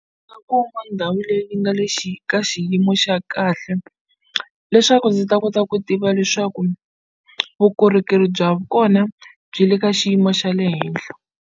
nga kuma ndhawu leyi nga le xi ka xiyimo xa kahle leswaku ndzi ta kota ku tiva leswaku vukorhokeri bya kona byi le ka xiyimo xa le henhla.